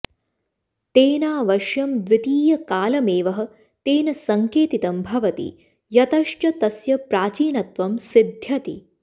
तेनावश्यं द्वितीयकालमेवः तेन सङ्केतितं भवति यतश्च तस्य प्राचीनत्वं सिद्ध्यति